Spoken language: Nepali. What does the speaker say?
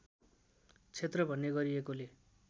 क्षेत्र भन्ने गरीएकोले